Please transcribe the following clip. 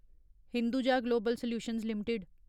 Hinduja global solutions limited